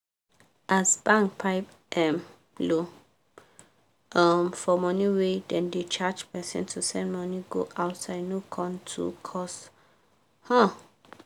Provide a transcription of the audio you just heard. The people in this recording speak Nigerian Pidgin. as bank pipe um low um for money wey dem da charge person to send money go outside no com too cost um